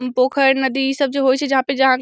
पोखर नदी इ सब जे होय छै जहाँ पे जहाँ --